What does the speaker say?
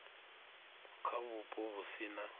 kha vhupo vhu si na